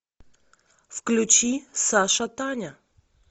включи саша таня